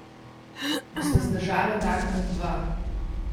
Bosta zdržala dan ali dva?